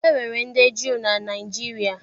E nwere ndị Juu na Naịjirịa